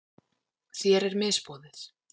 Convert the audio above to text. Þér er misboðið.